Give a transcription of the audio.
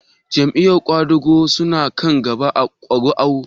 Jam'iyar ƙwadago su na kan gaba da ƙuri'u?